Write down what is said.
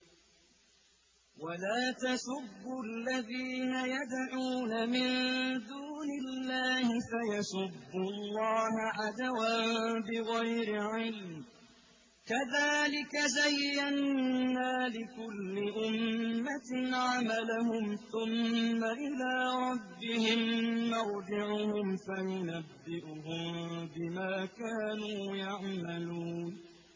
وَلَا تَسُبُّوا الَّذِينَ يَدْعُونَ مِن دُونِ اللَّهِ فَيَسُبُّوا اللَّهَ عَدْوًا بِغَيْرِ عِلْمٍ ۗ كَذَٰلِكَ زَيَّنَّا لِكُلِّ أُمَّةٍ عَمَلَهُمْ ثُمَّ إِلَىٰ رَبِّهِم مَّرْجِعُهُمْ فَيُنَبِّئُهُم بِمَا كَانُوا يَعْمَلُونَ